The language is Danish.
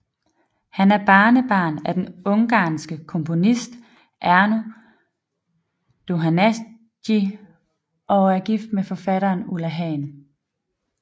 Han er barnebarn af den ungarske komponist Ernő Dohnányi og er gift med forfatteren Ulla Hahn